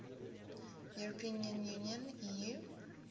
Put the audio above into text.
european union eu